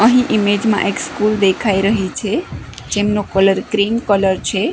અહીં ઈમેજ માં એક સ્કૂલ દેખાય રહી છે જેમનો કલર ક્રીમ કલર છે.